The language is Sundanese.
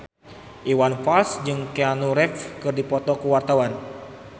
Iwan Fals jeung Keanu Reeves keur dipoto ku wartawan